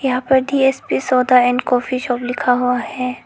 यहां पर D S P soda and coffee shop लिखा हुआ है।